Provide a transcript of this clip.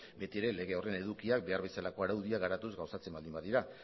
beti ere lege horren edukiak behar bezalako araudia garatuz gauzatzen baldin badira